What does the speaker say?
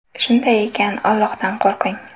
Shunday ekan, Allohdan qo‘rqing.